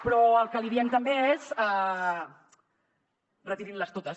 però el que li diem també és retirin les totes